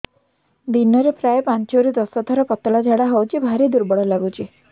ଦିନରେ ପ୍ରାୟ ପାଞ୍ଚରୁ ଦଶ ଥର ପତଳା ଝାଡା ହଉଚି ଭାରି ଦୁର୍ବଳ ଲାଗୁଚି